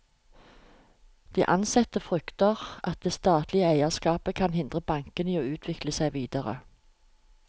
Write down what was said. De ansatte frykter at det statlige eierskapet kan hindre bankene i å utvikle seg videre.